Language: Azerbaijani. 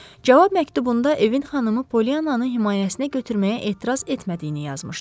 Cavab məktubunda evin xanımı Polliyananı himayəsinə götürməyə etiraz etmədiyini yazmışdı.